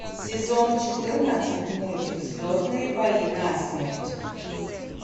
сезон четырнадцать мультик звездные бои насмерть